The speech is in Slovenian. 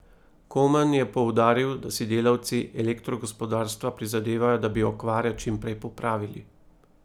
Komen je poudaril, da si delavci elektrogospodarstva prizadevajo, da bi okvare čim prej popravili.